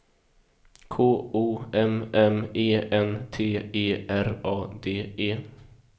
K O M M E N T E R A D E